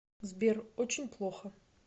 сбер очень плохо